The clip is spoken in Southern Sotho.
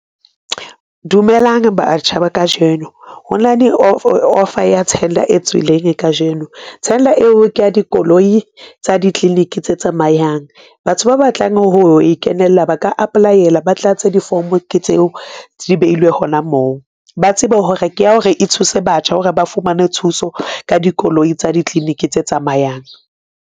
Dumelang batjha ba kajeno hona le offer ya tender e tswileng kajeno. Tender eo ke ya dikoloi tsa di-clinic tse tsamayang, batho ba batlang ho ikenela ba ka Apply-ela ba tlatse di-form-o ke tseo di behilwe hona moo. Ba tsebe hore ke ya hore e thuse batjha hore ba fumane thuso ka dikoloi tsa di-clinic tse tsamayang.